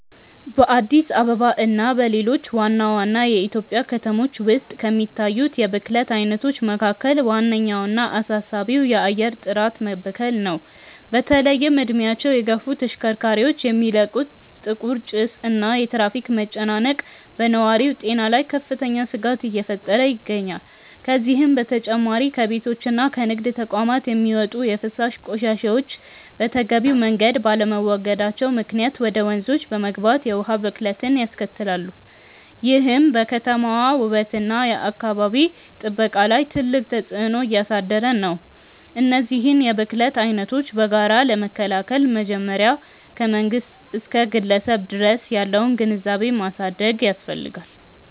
በአዲስ አበባ እና በሌሎች ዋና ዋና የኢትዮጵያ ከተሞች ውስጥ ከሚታዩት የብክለት አይነቶች መካከል ዋነኛውና አሳሳቢው የአየር ጥራት መበከል ነው። በተለይም እድሜያቸው የገፉ ተሽከርካሪዎች የሚለቁት ጥቁር ጭስ እና የትራፊክ መጨናነቅ በነዋሪው ጤና ላይ ከፍተኛ ስጋት እየፈጠረ ይገኛል። ከዚህም በተጨማሪ ከቤቶችና ከንግድ ተቋማት የሚወጡ የፍሳሽ ቆሻሻዎች በተገቢው መንገድ ባለመወገዳቸው ምክንያት ወደ ወንዞች በመግባት የውሃ ብክለትን ያስከትላሉ፤ ይህም በከተማዋ ውበትና በአካባቢ ጥበቃ ላይ ትልቅ ተጽዕኖ እያሳደረ ነው። እነዚህን የብክለት አይነቶች በጋራ ለመከላከል መጀመሪያ ከመንግስት እስከ ግለሰብ ድረስ ያለውን ግንዛቤ ማሳደግ ያስፈልጋል።